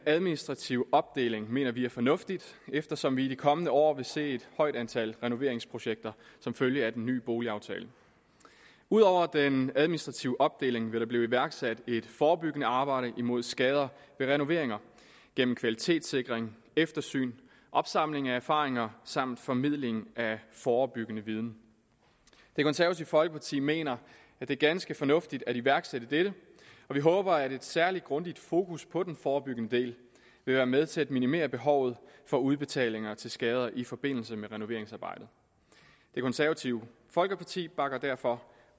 administrative opdeling mener vi er fornuftigt eftersom vi i de kommende år vil se et højt antal renoveringsprojekter som følge af den nye boligaftale ud over den administrative opdeling vil der blive iværksat et forebyggende arbejde imod skader ved renoveringer gennem kvalitetssikring eftersyn opsamling af erfaringer samt formidling af forebyggende viden det konservative folkeparti mener at det er ganske fornuftigt at iværksætte dette og vi håber at et særlig grundigt fokus på den forebyggende del vil være med til at minimere behovet for udbetalinger til skader i forbindelse med renoveringsarbejdet det konservative folkeparti bakker derfor